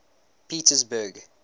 pietersburg